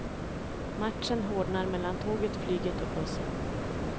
Matchen hårdnar mellan tåget, flyget och bussen.